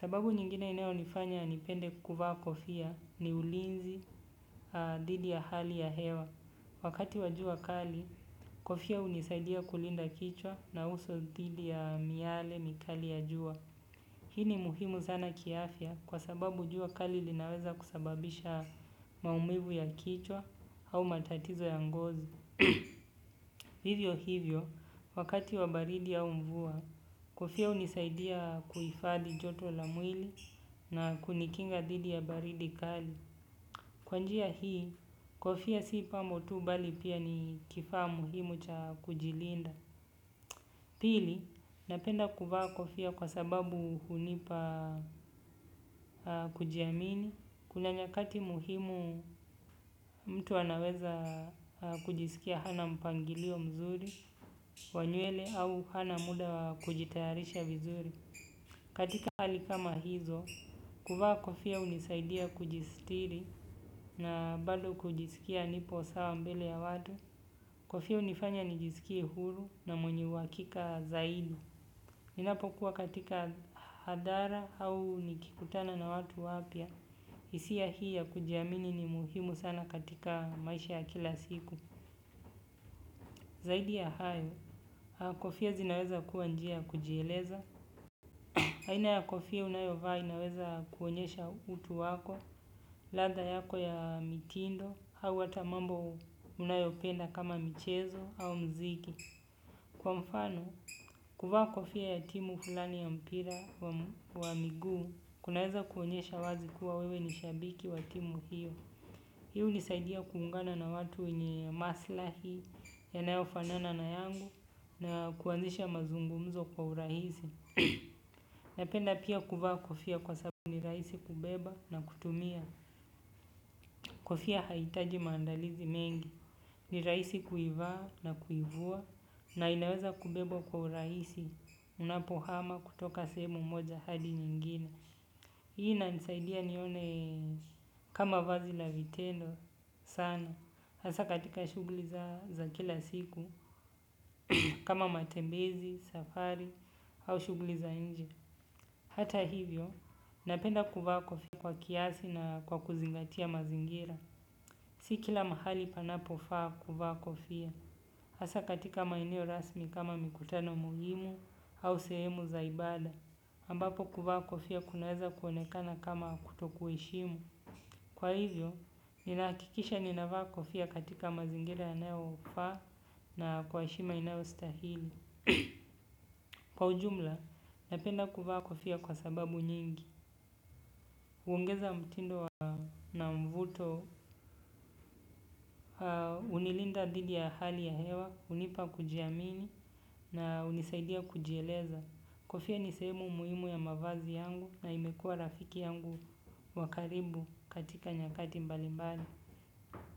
Sababu nyingine inao nifanya nipende kuvaa kofia ni ulinzi didi ya hali ya hewa. Wakati wajua kali, kofia unisaidia kulinda kichwa na uso dhidi ya miyale mikali ya jua. Hii ni muhimu sana kiafya kwa sababu jua kali linaweza kusababisha maumivu ya kichwa au matatizo ya ngozi. Hivyo hivyo wakati wa jua au baridi kofia unisaidia kuifadhi joto la mwili na kunikinga dhidi ya baridi kali. Kwa njia hii, kofia sii pambo tu bali pia ni kifaa muhimu cha kujilinda. Pili napenda kuvaa kofia kwa sababu hunipa kujiamini. Kuna nyakati muhimu mtu anaweza kujisikia hana mpangilio mzuri, wanywele au hana muda kujitayarisha vizuri. Katika hali kama hizo, kuvaa kofia unisaidia kujistiri na bado kujisikia nipo sawa mbele ya watu. Kofia unifanya nijisikia huru na mwenye wakika zaidi. Ninapokuwa katika hadara au nikikutana na watu wapya isia hii ya kujiamini ni muhimu sana katika maisha ya kila siku. Zaidi ya hayo, kofia zinaweza kuwa njia kujeleza. Haina ya kofia unayovaa inaweza kuonyesha utu wako, ladha yako ya mitindo, hawa tamambo unayopenda kama michezo au mziki. Kwa mfano, kufaa kofia ya timu fulani ya mpira wa miguu, kunaweza kuonyesha wazi kuwa wewe nishabiki wa timu hiyo. Hii unisaidia kuhungana na watu nye maslahi yanayofanana na yangu na kuanzisha mazungumzo kwa urahisi. Napenda pia kuvaa kofia kwa sababu ni raisi kubeba na kutumia. Kofia haitaji maandalizi mengi. Ni raisi kuivaa na kuivua. Na inaweza kubeba kwa uraisi. Unapohama kutoka sehemu moja hadi nyingine hii inanisaidia nione kama vazi la vitendo sana. Hasa katika shuguli za kila siku kama matembezi, safari au shuguli za nje hata hivyo, napenda kuvaa kofia kwa kiasi na kwa kuzingatia mazingira. Si kila mahali panapofaa kuvaa kofia. Asa katika maeneo rasmi kama mikutano muhimu au sehemu zaibada. Ambapo kuvaa kofia kunaweza kuonekana kama kutokuheshimu kwa hivyo, ninaakikisha ninavaa kofia katika mazingira anayo faa na kwa heshima inayo stahili. Kwa ujumla, napenda kuvaa kofia kwa sababu nyingi. Uongeza mtindo na mvuto, unilinda dhidi ya hali ya hewa, unipa kujiamini na unisaidia kujieleza. Kofia nisehemu muhimu ya mavazi yangu na imekua rafiki yangu wakaribu katika nyakati mbali mbali.